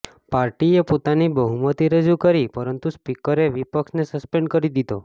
પાર્ટીએ પોતાની બહુમતી રજૂ કરી પરંતુ સ્પીકરે વિપક્ષને સસ્પેંડ કરી દીધો